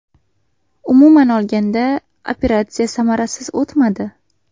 Umuman olganda, operatsiya samarasiz o‘tmadi.